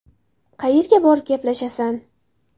Qayerga borib gaplashasan?